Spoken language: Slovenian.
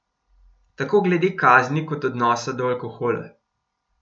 Tako glede kazni kot odnosa do alkohola.